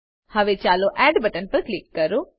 હવે ચાલો add button પર ક્લિક કરીએ